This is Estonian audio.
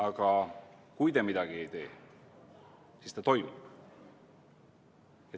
Aga kui te midagi ei tee, siis ta toimub.